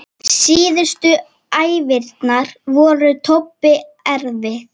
Síðustu æviárin voru Tobbu erfið.